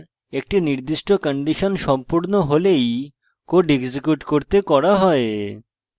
একটি নির্দিষ্ট condition সম্পূর্ণ হলেই code execute করতে করা হয়